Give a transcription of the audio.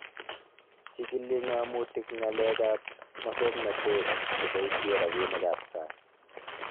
Chigili ng'amotik ng'alek ab mosoknotet cheboisye rabinik ab sang